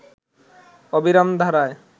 অবিরাম ধারায়